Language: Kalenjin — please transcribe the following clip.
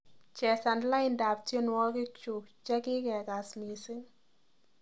chesan laindab tyenwogikchuk chegigegaas mising